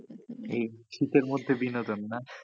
এই শীতের মধ্যে বিনোদন না,